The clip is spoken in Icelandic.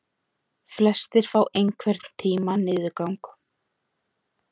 Flestir fá einhvern tíma niðurgang.